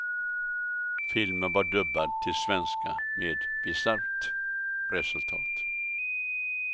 Filmen var dubbad till svenska med bisarrt resultat.